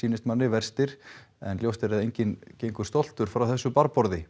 verstir en ljóst er að enginn gengur stoltur frá þessu